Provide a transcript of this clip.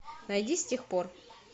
найди с тех пор